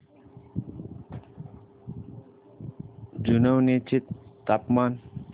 जुनवणे चे तापमान